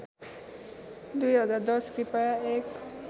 २०१० कृपया एक